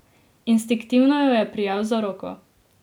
Instinktivno jo je prijel za roko.